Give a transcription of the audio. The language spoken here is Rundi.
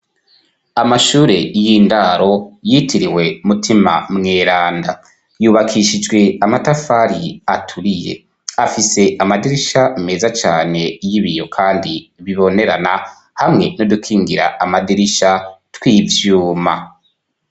Amashure y'indaro yitiriwe Mutima Mweranda. Yubakishijwe amatafari aturiye. Afise amadirisha meza cane y'ibiyo, kandi bibonerana hamwe n'udukingira amadirisha tw'ivyuma.